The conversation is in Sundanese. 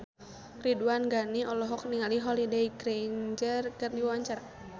Ridwan Ghani olohok ningali Holliday Grainger keur diwawancara